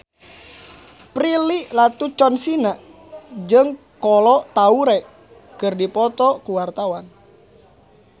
Prilly Latuconsina jeung Kolo Taure keur dipoto ku wartawan